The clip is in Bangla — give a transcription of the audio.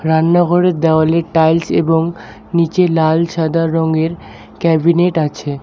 রান্নাঘরের দেওয়ালে টাইলস্ এবং নীচে লাল সাদা রঙের ক্যাবিনেট আছে।